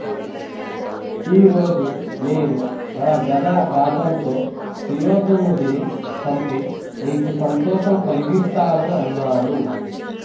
ఈ రోజు నేను నా గధా ఘాతంతో సుయోధనుడిని చంపి నీకు సంతోషం కలిగిస్తాను అన్నాడు